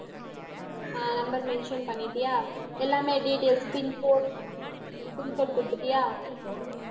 அஹ் number mention பண்ணிட்டியா எல்லாமே details, pin code pin code குடுத்துட்டியா